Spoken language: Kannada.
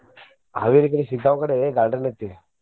Haveri ಕಡೆ Shiggaon ಕಡೆ garden ಐತಿ.